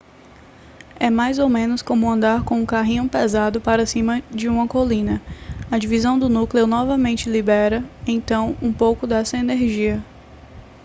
é mais ou menos como andar com um carrinho pesado para cima de uma colina a divisão do núcleo novamente libera então um pouco dessa energia